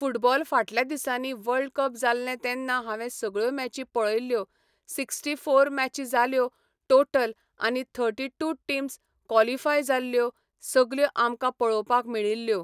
football फाटल्यां दिसांनी world cup जाल्लें तेन्ना हांवे सगळ्यो मॅची पळयल्यो सिकस्टी फॉर मॅची जाल्यो टोटल आनी थर्टी टू टिम्स कॉलीफाय जाल्यो सगल्यो आमकां पळोवपाक मेळिल्ल्यो